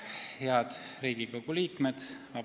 Head Riigikogu liikmed!